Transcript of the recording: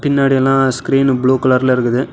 பின்னாடி எல்லா screen blue கலர்ல இருக்குது.